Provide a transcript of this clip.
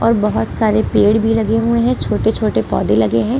और बहुत सारे पेड़ भी लगे हुए हैं छोटे-छोटे पौधे लगे हैं ।